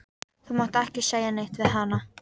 Þú mátt ekki segja neitt við hana.